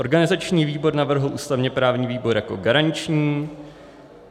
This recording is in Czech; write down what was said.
Organizační výbor navrhl ústavně-právní výbor jako garanční.